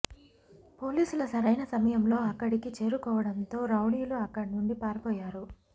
పోలీసుల సరైన సమయంలో అక్కడికి చేరుకోవడంతో రౌడీలు అక్కడి నుంచి పారిపోయారు